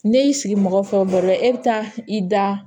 Ne y'i sigi mɔgɔ fɛ o baro la e bɛ taa i da